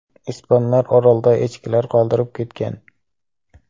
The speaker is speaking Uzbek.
Ispanlar orolda echkilar qoldirib ketgan.